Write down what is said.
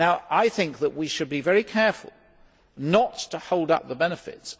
I think that we should be very careful not to hold up the benefits.